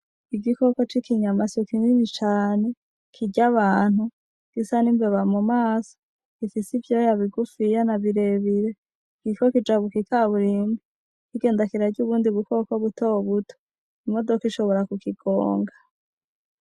Igikoko C'ikinyamaso kinini cane kirya abantu gisa n'imbeba mu maso gifis'ivyoya bigufiya na birebire kiriko kijabuka ikaburimbi kigenda kirarya ubundi bukoko butobuto , imodok'ishobora kukigonga .